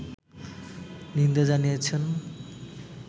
নিন্দা জানিয়েছেন